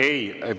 Ei!